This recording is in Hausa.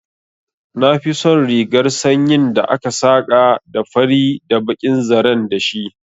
Na fi son rigar sanyin da aka saka da fari da bakin zaren dashi